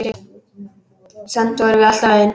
Samt vorum við alltaf ein.